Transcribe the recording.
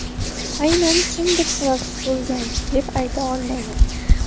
Aynan kimdir sababchi bo‘lgan deb ayta olmayman.